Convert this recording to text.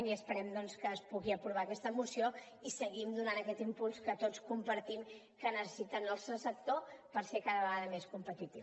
i esperem doncs que es pugui aprovar aquesta moció i seguim donant aquest impuls que tots compartim que necessita el sector per ser cada vegada més competitiu